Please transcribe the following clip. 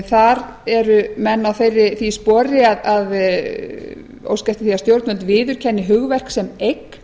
þar eru menn á því spori að óska eftir því að stjórnvöld viðurkenni hugverk sem eign